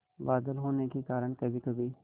बादल होने के कारण कभीकभी